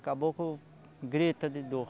Caboco grita de dor.